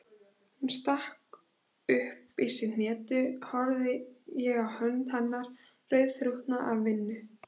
Þegar hún stakk upp í sig hnetu horfði ég á hönd hennar, rauðþrútna af vinnu.